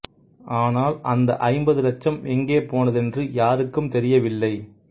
ஆனால் அந்த் ஐம்பது இலட்சம் எங்கே போனதென்று யாருக்கும் தெரியவில்லை